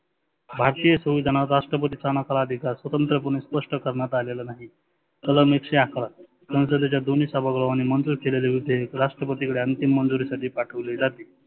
भारतीय सुविधानाचा राष्ट्रपतीचा हा नकार अधिकार स्वतंत्र्य पने स्पष्ट करण्यात आलेला नाही. कलम एकशे अकरा, संसदेच्या दोन्ही सभागृहानी मंजुर केलेले उद्देश राष्ट्रपतीकडे अंतीम मंजुरी साठी पाठविले जाते.